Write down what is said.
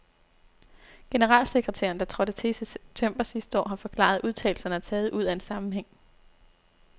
Generalsekretæren, der trådte til i september sidste år, har forklaret, at udtalelserne er taget ud af en sammenhæng.